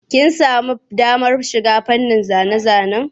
Kin sami damar shiga fannin zane-zanen?